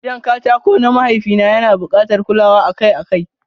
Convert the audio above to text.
Gidan katako na mahaifi na yana bukatar kulawa akai-akai.